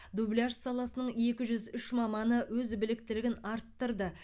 дубляж саласының екі жүз үш маманы өз біліктілігін арттырды